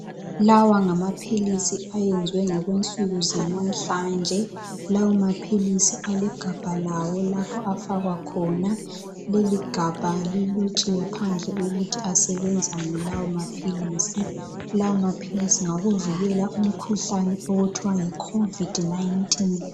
Lawa ngamaphilisi ayenziwe ngokwensuku zalamhlanje. Lawa maphilisi alegabha lawo lapho afakwa khona. Leligabha lilotshiwe phandle ukuthi asebenzani lawo maphilisi .Lawo maphilisi ngawokuvikela umkhuhlane okuthiwa yi COVID 19.